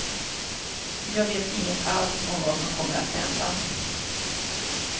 Jag vet inget alls om vad som kommer att hända.